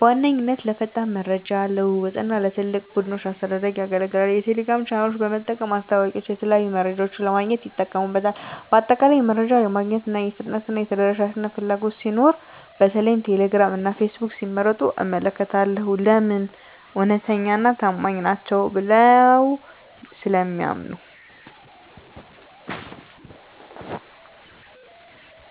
በዋነኛነት ለፈጣን የመረጃ ልውውጥ እና ለትላልቅ ቡድኖች አስተዳደር ያገለግላል። የቴሌግራም ቻናሎችን በመጠቀም ማስታወቂያወችንና የተለያዩ መረጃዎችን ለማግኘት ይጠቀሙበታል። በአጠቃላይ፣ መረጃ ለማግኘት የፍጥነትና የተደራሽነት ፍላጎት ሲኖር በተለይም ቴሌግራም እና ፌስቡክን ሲመርጡ እመለከታለሁ። *ለምን? እውነተኛና ታማኝ ናቸው ብለው ስለሚያምኑ።